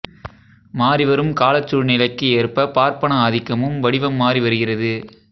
மாறிவரும் காலச்சூழ்நிலைக்கு ஏற்ப பார்ப்பன ஆதிக்கமும் வடிவம் மாறி வருகிறது